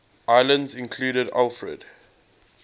islands included alfred